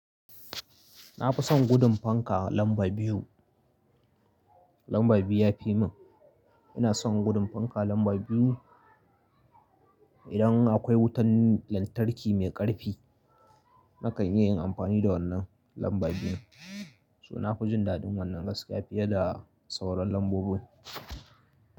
Na fi son gudun fanka lamba biyu. Lamba biyu ya fi mun. Ina son gudun fanka lamba biyu. Idan akwai wutan lantarki mai ƙarfi, na kai niyyar yin amfani da wannan lamba biyun, suna fujin daɗin wannan gaskiya fiye da sauran lambobin.